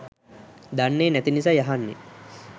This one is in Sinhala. දන්නේ නැති නිසයි අහන්නේ